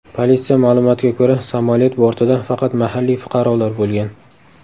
Politsiya ma’lumotiga ko‘ra, samolyot bortida faqat mahalliy fuqarolar bo‘lgan.